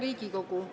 Hea Riigikogu!